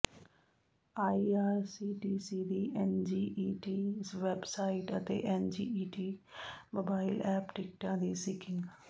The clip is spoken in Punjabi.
ਆਈਆਰਸੀਟੀਸੀ ਦੀ ਐਨਜੀਈਟੀ ਵੈਬ ਸਾਈਟ ਅਤੇ ਐਨਜੀਈਟੀ ਮੋਬਾਈਲ ਐਪ ਟਿਕਟਾਂ ਦੀ ਸਿੰਕਿੰਗ